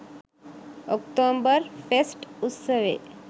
October fest උත්සවේ